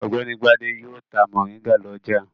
Ọ̀gbẹ́ni Gbadé yóò ta mòríngà lọ́jà.